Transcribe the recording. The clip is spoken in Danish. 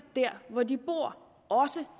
der hvor de bor også